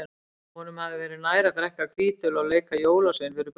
Honum hefði verið nær að drekka hvítöl og leika jólasvein fyrir börnin.